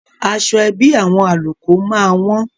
Aṣọ ẹbí àwọn Àlùkò máa wọ́n.